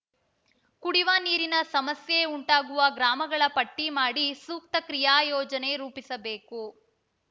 ಕುಡಿವ ನೀರಿನ ಸಮಸ್ಯೆ ಉಂಟಾಗುವ ಗ್ರಾಮಗಳ ಪಟ್ಟಿಮಾಡಿ ಸೂಕ್ತ ಕ್ರಿಯಾಯೋಜನೆ ರೂಪಿಸಬೇಕು